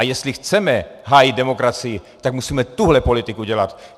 A jestli chceme hájit demokracii, tak musíme tuhle politiku dělat.